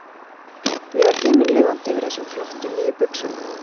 Ég var himinlifandi yfir þessum flottu, nýju buxum.